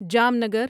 Jamnagar